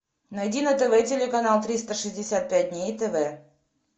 найди на тв телеканал триста шестьдесят пять дней тв